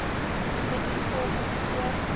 gedoen volgens voor